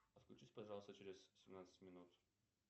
отключись пожалуйста через семнадцать минут